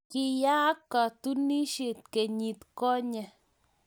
Kiyaak katunisiet kenyit konye